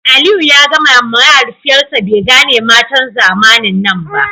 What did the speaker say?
Aliyu ya gaya ma mahaifiyarsa bai gane matan zamanin nan ba